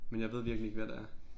Men jeg ved virkelig ikke hvad det er